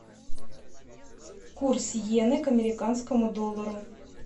курс йены к американскому доллару